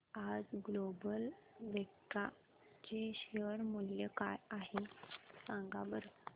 आज Global Vectra चे share मूल्य काय आहे सांगा बरं